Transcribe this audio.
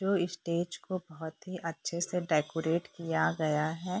जो स्टेज को बहुत ही अच्छे से डेकोरेट किया गया है।